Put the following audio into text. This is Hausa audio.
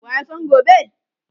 waya San gobe?